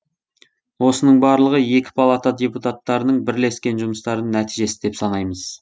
осының барлығы екі палата депутаттарының бірлескен жұмыстарының нәтижесі деп санаймыз